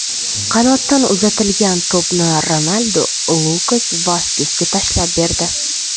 Qanotdan uzatilgan to‘pni Ronaldu Lukas Vaskesga tashlab berdi.